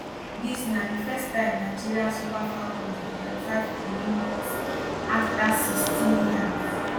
dis na di first time nigeria super falcons dey qualify for olympics afta 16 years